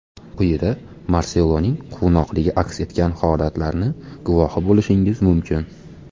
Quyida Marseloning quvnoqligi aks etgan holatlarni guvohi bo‘lishingiz mumkin.